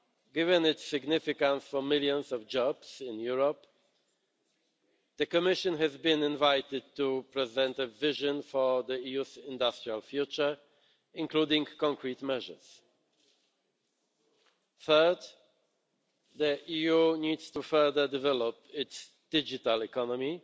Given its significance for millions of jobs in Europe, the Commission has been invited to present a vision of the EU's industrial future, including concrete measures. Third, the EU needs to further develop its digital economy,